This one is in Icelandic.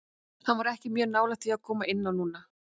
Hann var ekki mjög nálægt því að koma inn á núna.